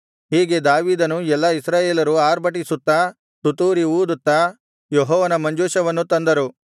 ಹೀಗೆ ದಾವೀದನೂ ಎಲ್ಲಾ ಇಸ್ರಾಯೇಲರೂ ಅರ್ಭಟಿಸುತ್ತಾ ತುತ್ತೂರಿ ಊದುತ್ತಾ ಯೆಹೋವನ ಮಂಜೂಷವನ್ನು ತಂದರು